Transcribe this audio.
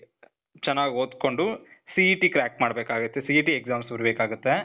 ಚನಾಗ್ ಓದ್ಕೊಂಡು, CET crack ಮಾಡಬೇಕಾಗತ್ತೆ. CET exams ಬರೀಬೇಕಾಗತ್ತೆ